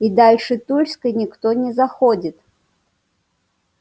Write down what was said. и дальше тульской никто не заходит